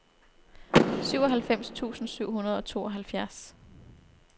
syvoghalvfems tusind syv hundrede og tooghalvfjerds